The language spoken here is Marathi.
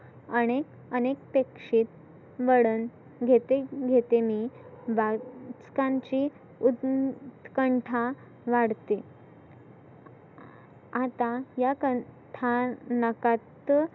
आनेक अनापेक्षीत वळन घेते घेते मी वाचकांची उत्कंठा वाढते. आता या कथानकात